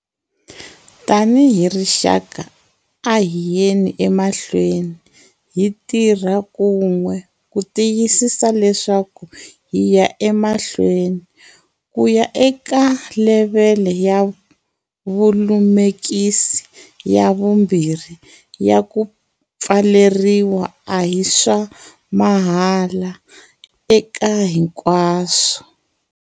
Tanihi rixaka, a hi yeni emahlweni hi tirha kun'we ku tiyisisa leswaku hi ya emahlweni. Ku ya eka levhele ya vulemukisi ya 2 ya ku pfaleriwa a hi swa 'mahala eka hinkwaswo.'